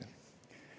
Kolm minutit lisaaega.